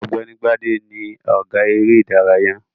Ọ̀gbẹ́ni Gbádé ni ọ̀gá eré-ìdárayá.